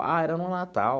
Ah, era um Natal.